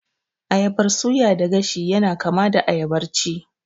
Ayabar suya da gashi yana kama da ayabar ci